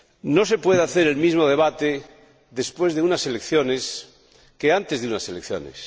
No se puede hacer el mismo debate después de unas elecciones que antes de unas elecciones